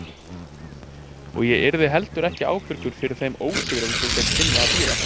Og ég yrði heldur ekki ábyrgur fyrir þeim ósigrum sem þeir kynnu að bíða.